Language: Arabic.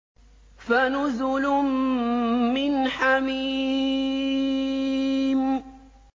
فَنُزُلٌ مِّنْ حَمِيمٍ